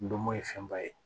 Ndomo ye fɛnba ye